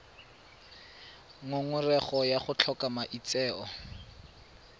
ngongorego ya go tlhoka maitseo